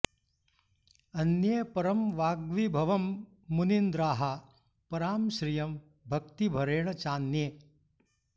अन्ये परं वाग्विभवं मुनीन्द्राः परां श्रियं भक्तिभरेण चान्ये